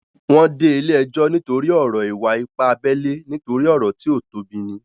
Wọ́n dé ilé ẹjọ́ nítorí ọ̀rọ̀ ìwà-ipá abẹ́lé nítorí ọ̀rọ̀ tí ó tóbi ní